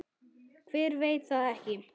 Hver veit það ekki?